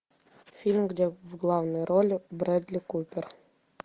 фильм где в главной роли брэдли купер